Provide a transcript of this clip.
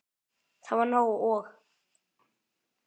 Það var nóg. og.